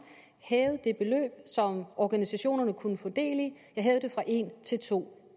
hævede det beløb som organisationerne kunne få del i fra en til to